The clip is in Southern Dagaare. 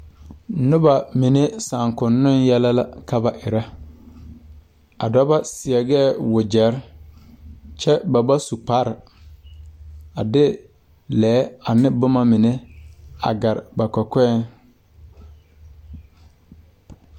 Nobɔ mine saakoŋnoŋ yɛlɛ la ka ba erɛ a dɔbɔ seɛgɛɛ wogyɛrre kyɛ ba ba su kparre a de lɛɛ ane bomma mine a gare ba kɔkɔɛŋ.